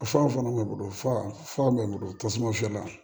Fa fana man bon fa mangoro tasuma fiyɛ la